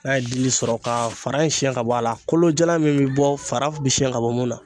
N'a ye dili sɔrɔ k'a fara in siyɛn ka bɔ a la, kolo jalan min bɛ bɔ fara bi siyɛn ka bɔ mun na.